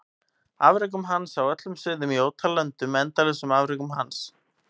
Afrekum hans á öllum sviðum í ótal löndum endalausum afrekum hans?